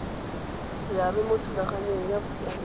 seabe mo thulaganyong ya bosiamisi